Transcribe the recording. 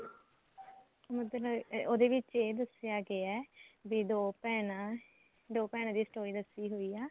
ਮਤਲਬ ਉਹਦੇ ਵਿੱਚ ਇਹ ਦੱਸਿਆ ਗਿਆ ਵੀ ਦੋ ਭੈਣਾ ਦੋ ਭੈਣਾ ਦੀ story ਦੱਸੀ ਹੋਈ ਐ